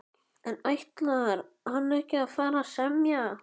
En ætlar hann ekki að fara að semja?